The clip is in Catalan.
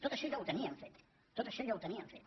tot això ja ho tenien fet tot això ja ho tenien fet